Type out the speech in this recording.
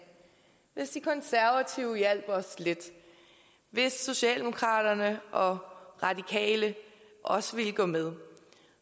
hvis de konservative hjælp os lidt hvis socialdemokraterne og radikale også ville gå med